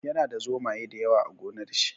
Yana da zomaye da yawa a gonar shi.